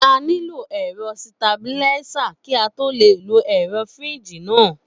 A nílò ẹ̀rọ sitabiláísà kí á tó le lo ẹ̀rọ fíríjì náà